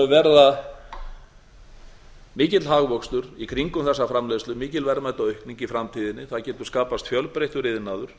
verða mikill hagvöxtur í kringum þessa framleiðslu mikil verðmætaaukning í framtíðinni það getur skapast fjölbreyttur iðnaður